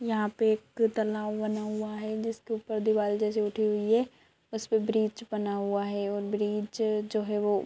यहाँ पे एक तालाब बना हुआ है जिसके ऊपर दीवाल जैसी उठी हुई है उसपे ब्रिज बना हुआ है और जो ब्रिज जो है वो --